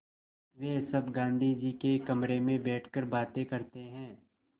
वे सब गाँधी जी के कमरे में बैठकर बातें करते हैं